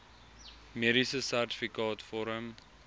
mediese sertifikaat vorm